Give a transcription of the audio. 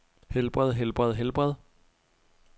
helbred helbred helbred